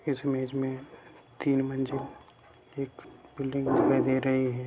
इस इमेज में तीन मंजिल एक बिल्डिंग दिखाई दे रही है।